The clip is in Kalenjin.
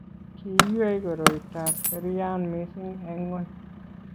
kiywei koroitab serian mising' eng' ng'ony.